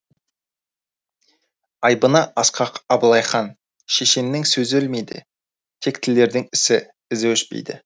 айбыны асқақ абылайхан шешеннің сөзі өлмейді тектілердің ісі ізі өшпейді